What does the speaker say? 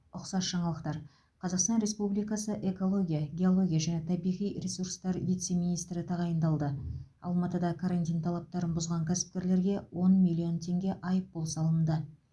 ұқсас жаңалықтар қазақстан республикасы экология геология және табиғи ресурстар вице министрі тағайындалды алматыда карантин талаптарын бұзған кәсіпкерлерге он миллион теңге айыппұл салынды